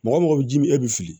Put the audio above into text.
Mɔgɔ mɔgɔ bɛ ji min e bɛ fili